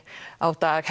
á dag